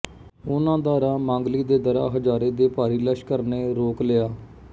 ਉਨ੍ਹਾਂ ਦਾ ਰਾਹ ਮਾਂਗਲੀ ਦੇ ਦਰ੍ਹਾ ਹਜ਼ਾਰੇ ਦੇ ਭਾਰੀ ਲਸ਼ਕਰ ਨੇ ਰੋਕ ਲਿਆ